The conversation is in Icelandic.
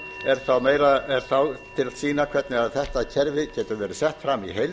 er þá til að sýna hvernig þetta kerfi getur